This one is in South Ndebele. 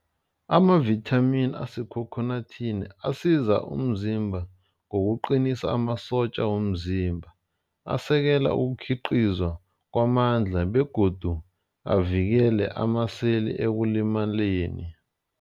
Amavithamini asekhokhonathini asiza umzimba ngokuqinisa amasotja womzimba. Asekela ukukhiqizwa kwamandla begodu avikele amaseli ekulimaleni.